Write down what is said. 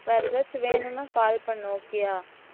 வேற ஏதாச்சும் வேணும்னா call பண்ணு okay யா